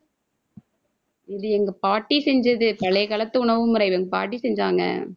இது எங்க பாட்டி செஞ்சது பழைய காலத்து உணவு முறையில என் பாட்டி செஞ்சாங்க.